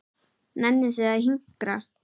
Nennið þið að hinkra?